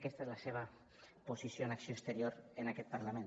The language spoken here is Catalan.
aquesta és la seva posició en acció exterior en aquest parlament